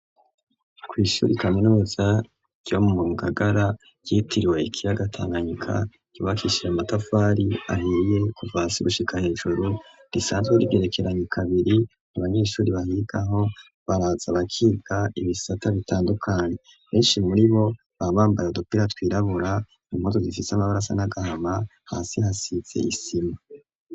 Kw'ishuri kaminuza ryo mu ngagara ryitiriwe ikiyaga tanganyika yubakishije amatavari ahiye kuvasigushika hejuru risanzwe r'ibyerekeranye kabiri u banyeshuri bahigaho baraza bakiba ibisata bitandukanye benshi muri bo bambambara dopera twirabura imkutu zifise amabarasa nagahama hasi hasize isima.